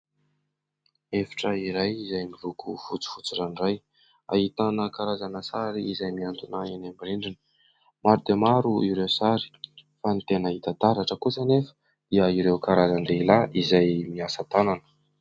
Efitra iray izay miloko fotsifotsy ranoray, ahitana karazana sary izay miantona any amin'ny rindrina. Maro dia maro ireo sary fa ny tena hita taratra kosa anefa dia ireo karazan-dehilahy izay miasa tanana.